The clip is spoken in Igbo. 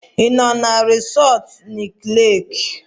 Ị nọ na resọtu Nike Leeki?